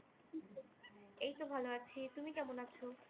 এইতো ভালো আছি তুমি কেমন আছো?